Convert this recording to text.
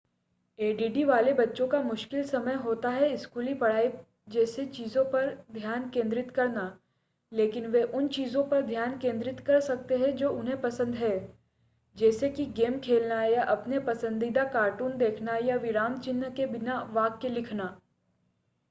ADD वाले बच्चों का मुशकिल समय होता है स्कूली पढ़ाई जैसी चीज़ों पर ध्यान केंद्रित करना लेकिन वे उन चीज़ों पर ध्यान केंद्रित कर सकते हैं जो उन्हें पसंद है जैसे कि गेम खेलना या अपने पसंदीदा कार्टून देखना या विराम चिह्न के बिना वाक्य लिखना